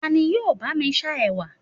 tani yíò ba mi sa ẹwà